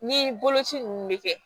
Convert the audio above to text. Ni boloci ninnu bɛ kɛ